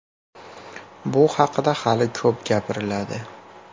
Bu haqida hali ko‘p gapiriladi.